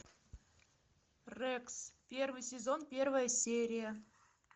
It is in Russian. рекс первый сезон первая серия